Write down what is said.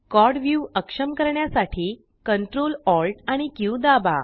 quad view अक्षम करण्यासाठी Ctrl Alt आणि क्यू दाबा